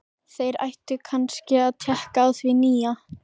Þeir ættu kannski að tékka á því nýja.